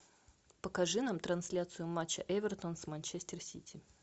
покажи нам трансляцию матча эвертон с манчестер сити